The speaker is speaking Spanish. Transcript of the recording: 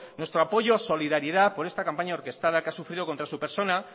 nuestro apoyo y solidaridad por esta campaña orquestada que ha sufrido contra su persona